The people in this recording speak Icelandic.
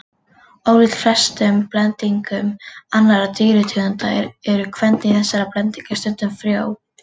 Ólíkt flestum blendingum annarra dýrategunda eru kvendýr þessara blendinga stundum frjó.